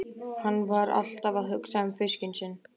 Hann var alltaf að hugsa um fiskinn sinn.